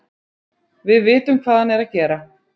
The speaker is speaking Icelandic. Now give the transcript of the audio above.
Við vitum hvað hann er að gera.